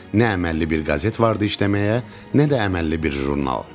Nə əməlli bir qəzet var idi işləməyə, nə də əməlli bir jurnal.